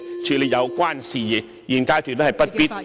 處理有關事宜，現階段不必......